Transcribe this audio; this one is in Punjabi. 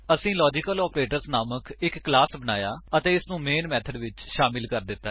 ਅਸੀਂ ਲਾਜੀਕਲੋਪਰੇਟਰਜ਼ ਨਾਮਕ ਇੱਕ ਕਲਾਸ ਬਣਾਇਆ ਅਤੇ ਇਸਨੂੰ ਮੇਨ ਮੇਥਡ ਵਿੱਚ ਸ਼ਾਮਿਲ ਕਰ ਦਿੱਤਾ ਹੈ